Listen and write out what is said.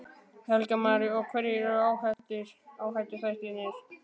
Helga María: Og hverjir eru áhættuþættirnir?